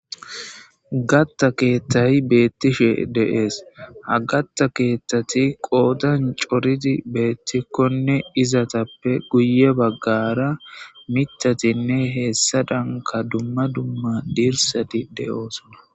Gatta keethtayi beettishe deees ha gatta keethtati qoodan coridi beettikkonne izatappe guye baggara mitatinne heessa danka dumma dumma diirsati de'oosona.